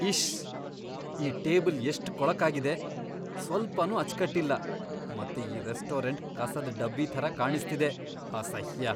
ಇಶ್ಶ್! ಈ ಟೇಬಲ್ ಎಷ್ಟ್ ಕೊಳಕಾಗಿದೆ, ಸ್ವಲ್ಪನೂ ಅಚ್ಚ್ಕಟ್ಟಿಲ್ಲ ಮತ್ತೆ ಈ ರೆಸ್ಟೋರೆಂಟ್ ಕಸದ್ ಡಬ್ಬಿ ಥರ ಕಾಣಿಸ್ತಿದೆ, ಅಸಹ್ಯ!!